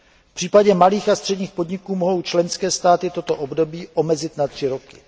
V případě malých a středních podniků mohou členské státy toto období omezit na tři roky.